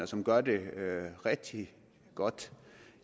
som gør det rigtig godt